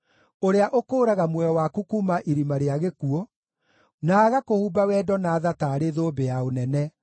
ũrĩa ũkũũraga muoyo waku kuuma irima rĩa gĩkuũ, na agakũhumba wendo na tha taarĩ thũmbĩ ya ũnene,